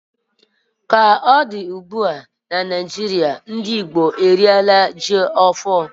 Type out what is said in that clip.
Ka ọ dị ugbu a, n'ọnwa Novemba, ndị Igbo eriela ji ọhụrụ